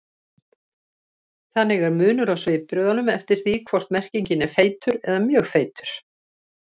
Þannig er munur á svipbrigðunum eftir því hvort merkingin er feitur eða mjög feitur.